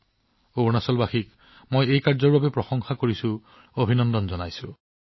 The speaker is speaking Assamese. ইয়াৰ বাবে মই অৰুণাচলৰ লোকসকলক প্ৰশংসা আৰু অভিনন্দন জনাইছো